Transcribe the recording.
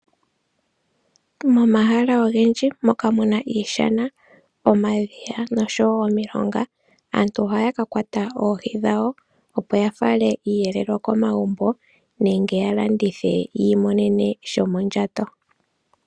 Momahala ogendji moka muna iishana, omadhiya nosho woo omilonga. Aantu ohaya ka kwata oohi dhawo opo yafale iiyelelwa komagumbo. Nenge yalandithe yiimonene shomondjato.